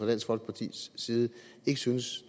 dansk folkepartis side ikke synes